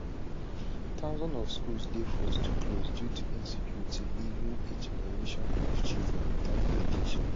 thousands of schools dey forced to close due to insecurity leaving a generation of children witout education